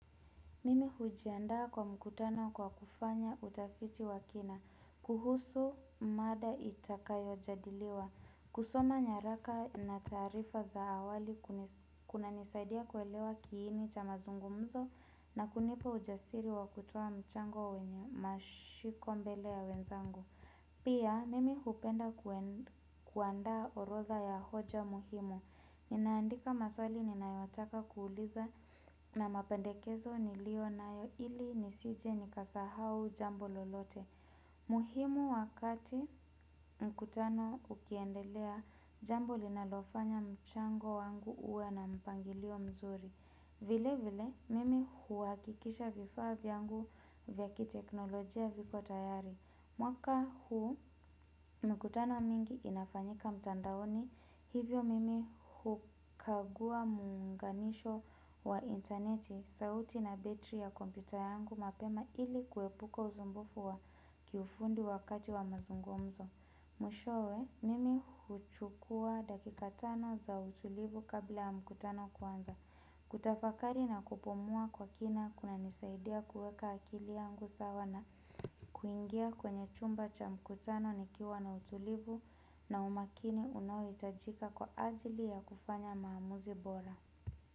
Mimi hujiandaa kwa mkutano kwa kufanya utafiti wa kina, kuhusu mada itakayojadiliwa, kusoma nyaraka na taarifa za awali kunanisaidia kuelewa kiini cha mazungumzo na kunipa ujasiri wa kutoa mchango wenye mashiko mbele ya wenzangu. Pia mimi hupenda kuandaa orodha ya hoja muhimu. Ninaandika maswali ninayotaka kuuliza na mapendekezo nilio nayo ili nisije nikasahau jambo lolote. Muhimu wakati mkutano ukiendelea jambo linalofanya mchango wangu huwa na mpangilio mzuri. Vile vile mimi huhakikisha vifaa vyangu vya kiteknolojia viko tayari. Mwaka huu mikutano mingi inafanyika mtandaoni hivyo mimi hukagua muunganisho wa interneti sauti na battery ya kompyuta yangu mapema ili kuepuka usumbufu wa kiufundi wakati wa mazungumzo. Mwishowe, mimi huchukua dakika tano za utulivu kabla ya mkutano kuanza kutafakari na kupumua kwa kina kunanisaidia kuweka akili yangu sawa na kuingia kwenye chumba cha mkutano nikiwa na utulivu na umakini unaohitajika kwa ajili ya kufanya maamuzi bora.